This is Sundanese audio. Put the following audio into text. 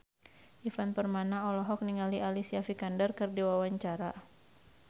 Ivan Permana olohok ningali Alicia Vikander keur diwawancara